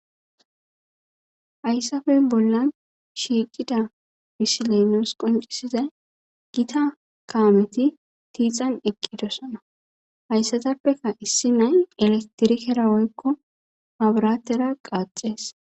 Hayssafe bolla shiicida bisileynoos qoncisizay gita kaameti tiixan eqqidosana hayssatappeka issi nay elatirikera oykko abaratera qaaxees.